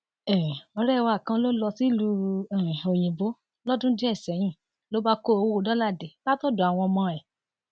um ọrẹ wa kan ló lọ sílùú um òyìnbó lọdún díẹ sẹyìn ló bá kó owó dọlà dé látọdọ àwọn ọmọ ẹ